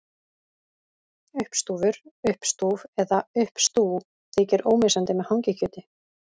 Uppstúfur, uppstúf eða uppstú þykir ómissandi með hangikjöti.